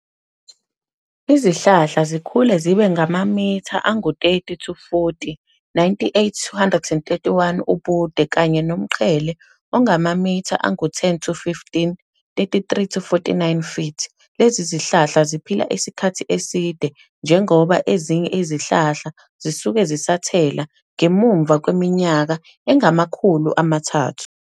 Izihlahla zikhula zibe ngamamitha angu-30-40, 98-131 ubude, kanye nomqhele ongamamitha angu-10-15, 33-49 ft. Lezi zihlahla ziphila isikhathi eside, njengoba ezinye izihlahla zisazithelo ngemuva kweminyaka engama khulu amathathu.